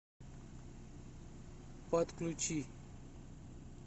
подключи